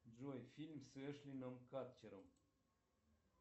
джой фильм с эштоном катчером